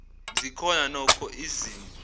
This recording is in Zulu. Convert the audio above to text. zikhona nokho izimo